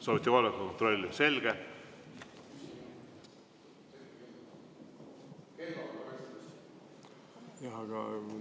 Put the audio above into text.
Soovite kohaloleku kontrolli?